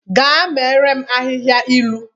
Gaa meere m ahịhịa ilu!